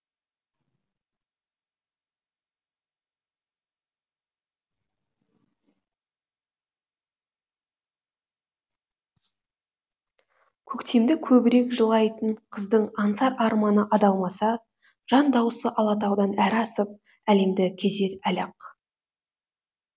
көктемді көбірек жырлайтын қыздың аңсар арманы алдамаса жандауысы алатаудан әрі асып әлемді кезер әлі ақ